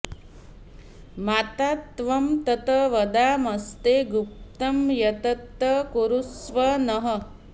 माता त्वं तत् वदामस्ते गुप्तं यत्तत् कुरुष्व नः